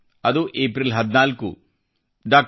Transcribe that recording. ಅದು ಏಪ್ರಿಲ್ 14 ಡಾ